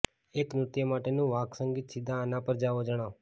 એક નૃત્ય માટેનું વાદ્યસંગીત સીધા આના પર જાઓ જાણો